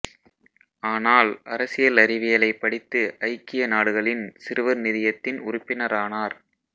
ஆனால் அரசியல் அறிவியலைப் படித்து ஐக்கிய நாடுகளின் சிறுவர் நிதியத்தின் உறுப்பினரானார்